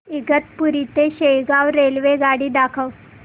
इगतपुरी ते शेगाव रेल्वेगाडी दाखव